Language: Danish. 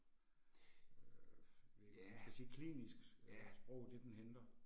Ja, ja